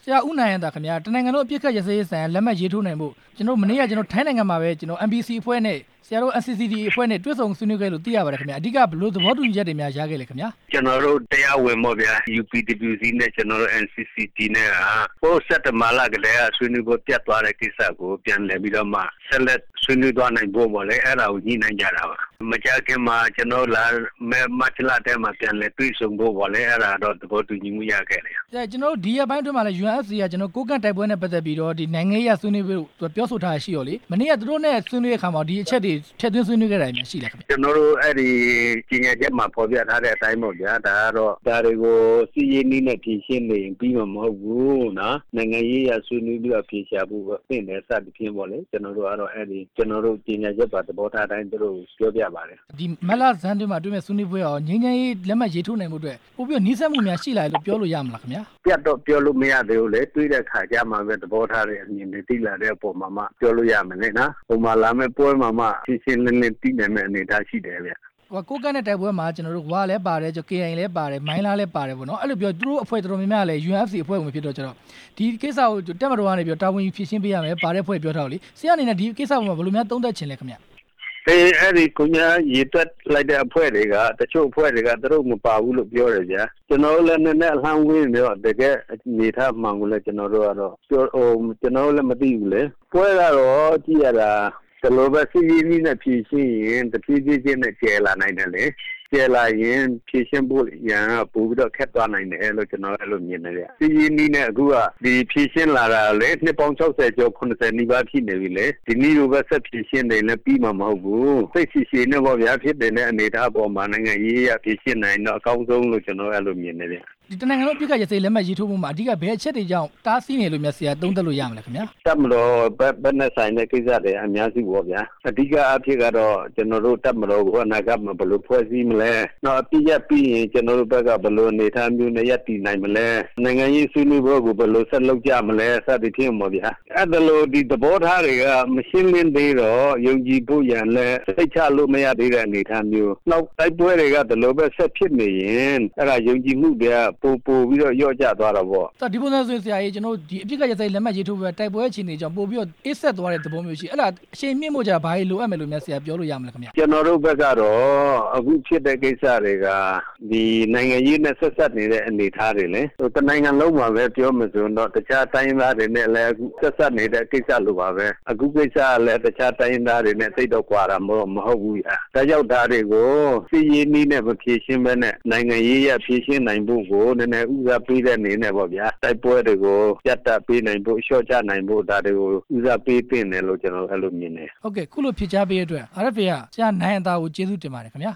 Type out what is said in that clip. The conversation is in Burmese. ရာ ဦးနိုင်ဟံသာခင်ဗျ တစ်နိုင်ငံလုံး အပစ်အခက်ရပ်စဲရေးဆိုင်ရာ လက်မှတ်ရေးထိုးနိုင်ဖို့ မနေ့က ထိုင်းနိုင်ငံမှာပဲ ကျနော်တို့ MPC အဖွဲ့နဲ့ ဆရာတို့ NCCT အဖွဲ့နဲ့ တွေ့ဆုံဆွေးနွေးခဲ့တယ်လို့ သိရပါတယ် ခင်ဗျ၊ အဓိက ဘယ်လိုသဘောတူညီချက်တွေများ ရခဲ့လဲခင်ဗျ။ ကျနော်တို့ တရားဝင်ပေါ့ဗျာ UPWC နဲ့ ကျနော်တို့ NCCT နဲ့ ဟိုးစက်တင်ဘာလကတည်း က ဆွေးနွေးပွဲပျက်သွားတဲ့ကိစ္စကို ပြန်လည်ပြီးတော့မှ ဆက်လက်ဆွေးနွေးသွားနိုင်ဖို့ပေါ့လေ အဲ့ဒါကိုညှိနှိုင်းကြ တာပါ၊ မကြာခင်မှာ ကျနော်တို့ လာမယ်မတ်လထဲမှာ ပြန်လည်တွေ့ဆုံဖို့ပေါ့လေ အဲ့ဒါတော့ သဘောတူညီမှု ရခဲ့တယ်။ ကျနော်တို့ ဒီရက်ပိုင်းအတွင်းမှလည်း UNFC ရဲ့ ကိုးကန့်တိုက်ပွဲနဲ့ ပတ်သက် ပြီးတော့ နိုင်ငံရေးအရပြောဆိုထားတာ ရှိတော့လေ၊ မနေ့ကသူတို့နဲ့ ဆွေးနွေးတဲ့အခါမှာရော ဒီအချက်တွေ ထည့်သွင်းဆွေးနွေးခဲ့တာမျိုးရော ရှိလားခင်ဗျ။ ကျနော်တို့ အဲ့ဒီကြေညာချက်မှာ ဖော်ပြထာတဲ့အတိုင်းပေါ့ဗျာ၊ ဒါတွေကို စစ်ရေးနည်းနဲ့ဖြေ ရှင်းနေရင် ပြီးမှာမဟုတ်ဘူး၊ နိုင်ငံရေးအရ ဆွေးနွေးပြီးတော့ အဖြေရှာဖို့သင့်တယ် စသည်ဖြင့်ပေါ့လေ ကျနော် တို့ ကြေညာချက်ပါ သဘောထားအတိုင်း သူတို့ကိုပြောပြပါတယ်။ မတ်လဆန်းမှာ တွေဖို့ဆွေးနွေးပွဲကရော လက်မှတ်ရေးထိုးနိုင်ဖို့အတွက် ပိုပြီးတော့ နီးစပ်မှုရှိလာတယ်လို့ ပြောလို့ရမလားခင်ဗျာ။ အပြတ်တော့ ပြောလို့မရသေးဘူးလေ၊ တွေ့တဲ့အခါကျမှပဲ သဘောထားတွေ အမြင်တွေ သိလာတဲ့အပေါ်မှာမှ ပြောလို့ရမယ်လေနော်၊ လာမယ့်ပွဲမှာမှ ရှင်းရှင်းလင်းလင်း သိနိုင်တဲ့အနေအထားရှိတယ်ဗျ။ ကိုးကန့်နဲ့တိုက်ပွဲမှာ ဝ လည်းပါတယ်၊ ကေအိုင်အေလည်းပါတယ်၊ မိုင်းလားလည်း ပါတယ်ပေါ့နော်၊ အဲ့ဒီတော့ သူတို့အဖွဲ့တော်တော်များများကလည်း UNFC အဖွဲ့ဝင်ဖြစ်တဲ့အခါကျတော့ ဒီကိစ္စကို တပ်မတော်ကနေပြီးတော့ တာဝန်ယူဖြေရှင်းပေးရမယ်၊ ပါတဲ့အဖွဲ့တွေပြောထားတော့လေ ဆရာ့အနေနဲ့ ဒီကိစ္စမှာ ဘယ်လိုများ သုံးသပ်ချင်လည်းခင်ဗျ။ အစိုးရ ရေတွက်လိုက်တဲ့အဖွဲ့တွေက တစ်ချို့အဖွဲ့တွေက သူတို့မပါဘူးလို့ ပြောတယ်ဗျာ၊ ကျနော်တို့လည်း နည်းနည်းအလှမ်းဝေးနေတော့ တကယ့် အနေအထားမှန်ကိုလည်း ကျနော်တို့ကတော့ ကျနော်တို့ လည်းမသိဘူးလေ၊ ပွဲကတော့ကြည့်ရတာ ဒီလိုပဲဖြေးဖြေးချင်းနဲ့ပဲ တဖြည်းဖြည်းချင်းနဲ့ပဲ ကျယ်လာနိုင်တယ်လေ၊ ကျယ်လာရင် ဖြေရှင်းဖို့ရာက ပိုပြီးတော့ ခက်သွားလာနိုင်တယ်လို့ ကျနော်က အဲ့လိုမြင်တယ်ဗျ၊ ဖြေရှင်းလာ တာလည်း နှစ်ပေါင်း ၆ဝ ကျော် ၇ဝ နီးပါးရှိနေပြီလေ၊ ဒီလိုပဲဆက်ဖြေရှင်နေရင်လည်း ပြီးမှာမဟုတ်ဘူး၊ စိတ်ရှည်ရှည်နဲ့ပေါ့ဗျာ ဖြစ်တည်တဲ့အနေအထားအပေါ်မှာ နိုင်ငံရေးအရ ဖြေရှင်းနိုင်ရင်တော့ အကောင်းဆုံးလို့ ကျနော်က အဲ့လိုမြင်တယ်ဗျ။ တစ်နိုင်ငံလုံး အပစ်အခက်ရပ်စဲရေး လက်မှတ်ရေးထိုးမှုမှာ အဓိက ဘယ်အချက်တွေကြောင့် အတားဆီးဖြစ်တယ်လို့များ ဆရာသုံးသပ်လို့ရနိုင်မလဲခင်ဗျ။ တပ်မတော်ဘက်နဲ့ဆိုင်တဲ့ကိစ္စတွေက အများကြီးပေါ့ဗျ၊ အဓိကအားဖြင့်ကတော့ ကျနော်တို့ တပ်မတော်ကို အနာဂတ်မှာ ဘယ်လိုဖွဲ့စည်းမလဲ၊ နောက် အပစ်အခက်ရပ်စဲပြီးရင် ကျနော်တို့ဘက်က ဘယ်လို အနေအထားမျိုးနဲ့ ရပ်တည်နိုင်မလဲ၊ နိုင်ငံရေးဆွေးနွေးပွဲကို ဘယ်လိုဆက်လုပ်ကြမလဲ စသည်ဖြင့်ပေါ့ဗျာ၊အဲ့ဒီလို ဒီသဘောထားတွေက မရှင်းလင်းသေးတော့ ယုံကြည်ဖို့ရာလည်း စိတ်မချရသေးတဲ့အနေအထားမျိုး တိုက်ပွဲတွေက ဒီလိုပဲဆက်ဖြစ်နေရင် အဲ့ဒါယုံကြည်မှုတွေက ပိုပိုပြီးတော့ လျော့ကျသွားတာပေါ့။ ဒီပုံစံဆိုရင်ဆရာရေ ကျနော်တို့ အပစ်အခက်လက်မှတ်ရေးထိုးပွဲက တိုက်ပွဲအခြေ အနေကြောင့် အေးစက်သွားတဲ့အဘောမျိုးရှိတယ်၊ အဲ့ဒါအရှိန်မြှင့်ဖို့ကျတော့ ဘာတွေလိုအပ်မယ်လို့များ ဆရာပြောလို့ရမလဲခင်ဗျ။ ကျနော်တို့ဘက်ကတော့ အခုဖြစ်တဲ့ကိစ္စတွေက ဒီနိုင်ငံရေးနဲ့ ဆပ်စပ်နေတဲ့အနေ အထားတွေလေ၊ တစ်နိုင်ငံလုံးမှာလည်း ပြောမယ်ဆိုရင်တော့ တခြားတိုင်းရင်းသားတွေနဲ့ ဆက်စပ်နေတဲ့ ကိစ္စလိုပါပဲ၊ အခုကိစ္စပလည် တခြားတိုင်းရင်းသားတွေနဲ့ သိပ်တော့ကွာတာမဟုတ်ဘူးဗျ၊ ဒါကြောင့်ဒါတွေကို စစ်ရေးနည်းနဲ့ မဖြေရှင်းပဲနဲ့ နိုင်ငံရေးအရ ဖြေရှင်းနိုင်ဖို့ကို နည်းနည်းဦးစားပေးတဲ့အနေနဲ့ပေါ့ဗျာ တိုက်ပွဲတွေကို ရပ်တန့်ပေးနိုင်ဖို့ လျော့ချပေးနိုင်ဖို့ ဒါတွေကိုဦးစားပေးသင့်တယ်လို့ ကျနော်အဲ့လိုမြင်တယ်။ ဟုတ်ကဲ့ အခုလိုဖြေကြားပေးတဲ့အတွက် RFA က ဆရာနိုင်ဟံသာကို ကျေးဇူးတင်ပါတယ် ခင်ဗျာ